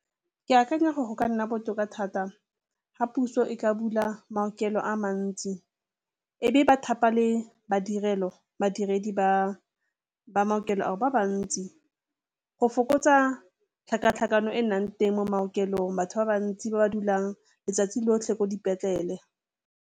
Ke akanya gore go ka nna botoka thata ga puso e ka bula maokelo a mantsi e be ba thapa le madirelo, badiredi ba ba maokelo a ba bantsi go fokotsa tlhakatlhakano e nnang teng mo maokelong, batho ba bantsi ba ba dulang letsatsi lotlhe ko dipetlele.